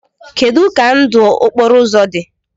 Kedu ka ndụ okporo ụzọ dị?